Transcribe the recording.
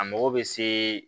A mago bɛ se